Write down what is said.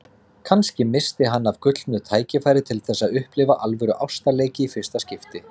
Kannski missti hann af gullnu tækifæri til þess að upplifa alvöru ástarleiki í fyrsta skipti.